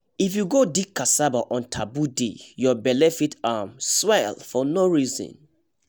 if you go dig cassava on taboo day your belle fit um swell for no reason